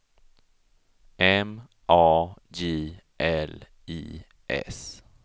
M A J L I S